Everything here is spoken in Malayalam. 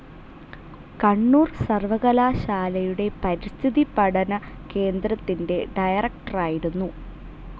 കണ്ണൂർ സർവ്വകലാശാലയുടെ പരിസ്ഥിതി പഠനകേന്ദ്രത്തിൻ്റെ ഡയറക്ടറായിരുന്നു.